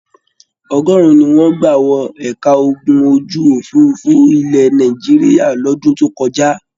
Ọgọrùn ní wọn gbà wọ ẹ̀ka ogun ojú-òfurufú ilẹ̀ Nàìjíríà lọ́dún tó kọjá.